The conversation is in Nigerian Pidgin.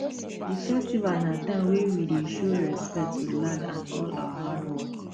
the festival na time wey we dey show respect to land and all our hard work